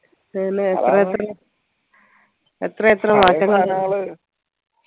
അതേലെ എത്രയെത്ര മാറ്റങ്ങൾ